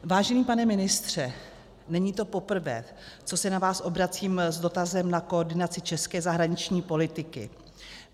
Vážený pane ministře, není to poprvé, co se na vás obracím s dotazem na koordinaci české zahraniční politiky.